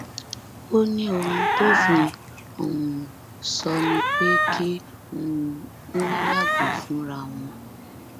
ó ní ohun tófin um sọ ni pé kí um wọn yàgò fúnra wọn ni